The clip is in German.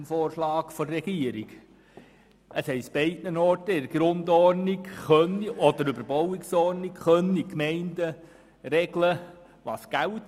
Beide sagen, dass die Gemeinden in der Grundordnung oder in den Überbauungsordnungen regeln können, was gilt.